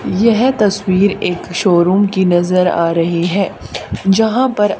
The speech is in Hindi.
यह तस्वीर एक शोरूम की नजर आ रही है जहां पर--